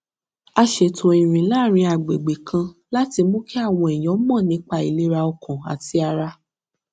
a ṣètò ìrìn láàárín agbègbè kan láti mú kí àwọn èèyàn mọ nípa ìlera ọkàn àti ara